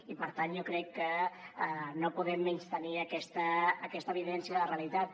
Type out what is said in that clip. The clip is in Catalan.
i per tant jo crec que no podem menystenir aquesta evidència de la realitat